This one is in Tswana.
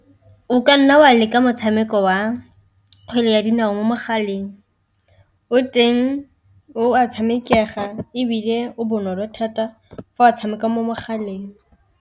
O ka nna wa leka motshameko wa kgwele ya dinao mo mogaleng, o teng o a tshamekega ebile o bonolo thata fa o tshameka mo mogaleng.